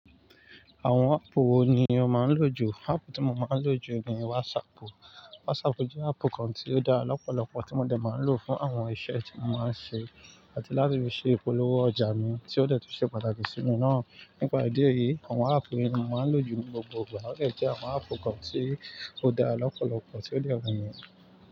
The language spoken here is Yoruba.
Àwọn áàpù wo ni o máa ń lò jù? Áàpù tí mo máa ń lò jù ni WhatsApp. WhatsApp jẹ́ áàpù kan tí ó dára lọ́pọ̀lọpọ̀ tí mo dẹ máa ń lò fún àwọn iṣẹ́ tí mo máa ń ṣe àti láti fi ṣe ìpolówó ọjà mi tí ó dẹ̀ tún ṣe pàtàkì sí mi náà. Nípa ìdí èyí, àwọn appu yẹn ni mo máa ń lòjù ní gbogbo ìgbà. A dẹ̀ jẹ́ àwọn áàpù kan tí ó dára lọ́pọ̀lọpọ̀ tí ó lè wù mí.